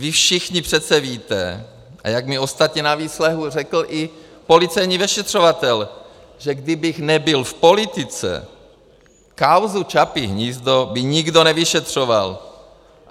Vy všichni přece víte - a jak mi ostatně na výslechu řekl i policejní vyšetřovatel - že kdybych nebyl v politice, kauzu Čapí hnízdo by nikdo nevyšetřoval.